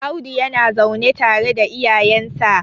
Audu yana zaune tare da iyayensa